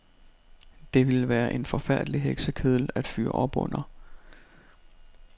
Det ville være en forfærdelig heksekedel at fyre op under.